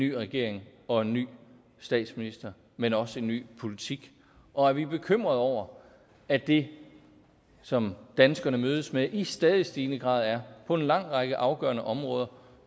ny regering og en ny statsminister men også en ny politik og at vi er bekymrede over at det som danskerne mødes med i stadig stigende grad på en lang række afgørende områder